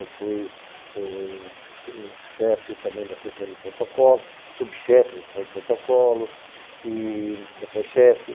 Eu fui chefe também da sessão de protocolo, subchefe da sessão de protocolo, e depois chefe.